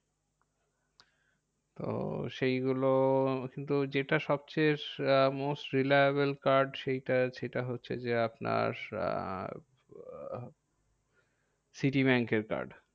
তো সেইগুলো কিন্তু যেটা সবচেযে most reliable card সেইটা সেটা হচ্ছে যে আপনার আহ সিটি ব্যাঙ্কের card.